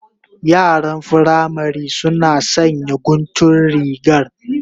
Yaran firamari suna sanya guntun rigar